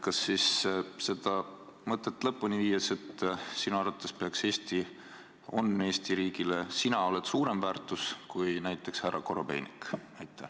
Kas siis, seda mõtet lõpuni viies, sinu arvates oled sina Eesti riigile suurem väärtus kui näiteks härra Korobeinik?